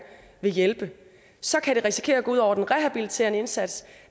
vil hjælpe så kan det risikere at gå ud over den rehabiliterende indsats